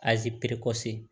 Aze kɔse